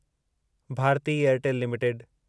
Bharti Airtel limited